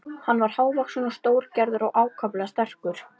Hann var hávaxinn og stórgerður og ákaflega sterkur.